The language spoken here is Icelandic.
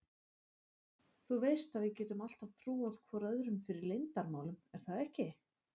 Þú veist að við getum alltaf trúað hvor öðrum fyrir leyndarmálum er það ekki?